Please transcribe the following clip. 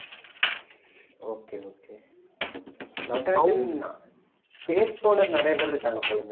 okay okay Natraj pace போட நிறையப்பேர் இருக்காங்க போல